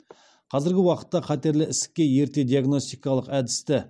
қазіргі уақытта қатерлі ісікке ерте диагностикалық әдісті